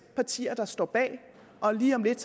partier der står bag lige om lidt